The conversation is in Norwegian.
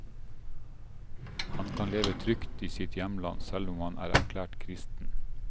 Han kan leve trygt i sitt hjemland, selv om han er erklært kristen.